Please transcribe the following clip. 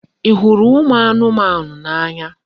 Ị hụrụ ụmụ anụmanụ n'anya?